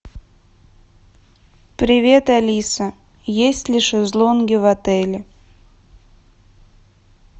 привет алиса есть ли шезлонги в отеле